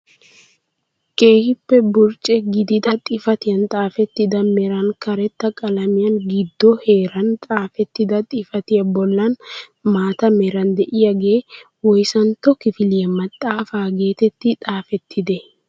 Keehippe burcce gidida xifatiyaan xaafettida meran karetta qalamiyaan giddo heeran xaafettida xifatiyaa bollan maata meran de'iyaagee woyssantto kifiliyaa maxaafaa getettii xafettidee?